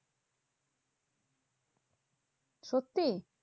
সত্যি?